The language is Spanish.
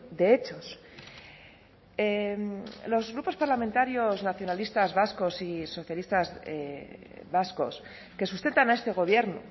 de hechos los grupos parlamentarios nacionalistas vascos y socialistas vascos que sustentan a este gobierno